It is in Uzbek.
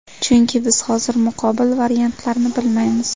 Chunki biz hozir muqobil variantlarni bilmaymiz.